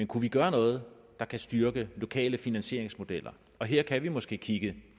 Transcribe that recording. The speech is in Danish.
kunne vi gøre noget der kan styrke lokale finansieringsmodeller her kan vi måske kigge